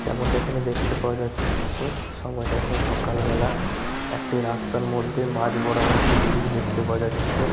যেমনটা এখানে দেখতে পাওয়া যা-চ্ছে। সময়টা এখন সকালবেলা। একটি রাস্তার মধ্যে মাঝ বরাবর একটি ব্রিজ দেখতে পাওয়া যাচ্ছে।